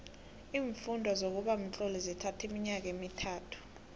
iimfundo zokuba mtloli zithatho iminyaka emithathu